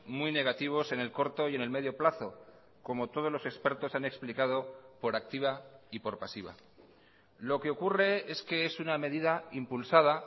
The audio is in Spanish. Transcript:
muy negativos en el corto y en el medio plazo como todos los expertos han explicado por activa y por pasiva lo que ocurre es que es una medida impulsada